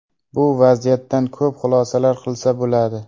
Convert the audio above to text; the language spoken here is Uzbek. Bu vaziyatdan ko‘p xulosalar qilsa bo‘ladi.